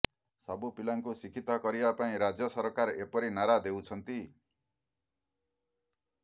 ସବୁ ପିଲାଙ୍କୁ ଶିକ୍ଷିତ କରିବା ପାଇଁ ରାଜ୍ୟ ସରକାର ଏପରି ନାରା ଦେଉଛନ୍ତି